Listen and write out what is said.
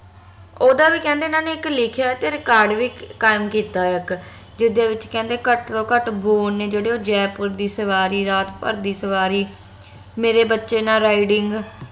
ਓਹਦਾ ਵੀ ਕਹਿੰਦੇ ਏਹਨਾ ਨੇ ਇਕ ਲਿਖਿਆ ਤੇ record ਵੀ ਕਾਇਮ ਆ ਕੀਤਾ ਇਕ ਜਿਦੇ ਵਿਚ ਕਹਿੰਦੇ ਘਟ ਤੋਂ ਘਟ ਬੋਲ ਨੇ ਜੇਹੜੇ ਓਹ ਜੈਪੁਰ ਦੀ ਸਵਾਰੀ ਰਾਤ ਭਰ ਦੀ ਸਵਾਰੀ ਮੇਰੇ ਬਚੇ ਨਾਲ riding